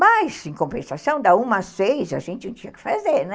Mas, em compensação, da uma às seis, a gente não tinha o que fazer, né?